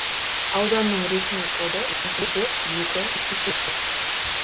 ауданның ресми коды төрт екі сексен төрт